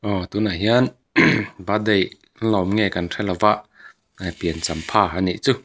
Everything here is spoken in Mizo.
aw tunah hian birthday an lawm nge kan hre lova pian champha anih chu.